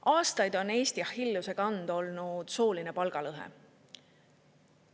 Aastaid on Eesti Achilleuse kand olnud sooline palgalõhe.